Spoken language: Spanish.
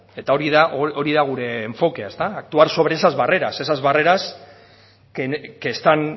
eta hori da hori da gure enfokea ezta actuar sobre esas barreras esas barreras que están